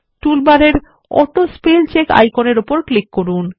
টুলবারের অটোস্পেলচেক আইকনের উপর ক্লিক করুন